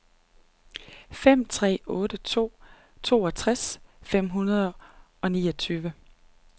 fem tre otte to toogtres fem hundrede og niogtyve